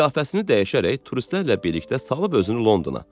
Qiyafəsini dəyişərək turistlərlə birlikdə salıb özünü Londona.